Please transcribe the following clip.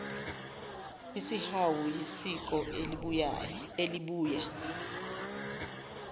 isihawu yisiko elibuya